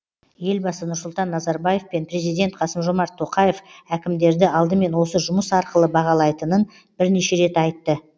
елбасы нұрсұлтан назарбаев пен президент қасым жомарт тоқаев әкімдерді алдымен осы жұмыс арқылы бағалайтынын бірнеше рет айтты